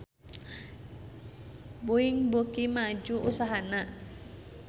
Boeing beuki maju usahana